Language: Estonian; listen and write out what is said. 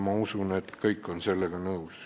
Ma usun, et kõik on sellega nõus.